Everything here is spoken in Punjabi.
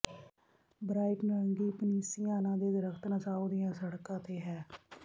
ਬ੍ਰਾਈਟ ਨਾਰੰਗੀ ਪਨੀਸੀਆਨਾ ਦੇ ਦਰੱਖਤ ਨਸਾਓ ਦੀਆਂ ਸੜਕਾਂ ਤੇ ਹੈ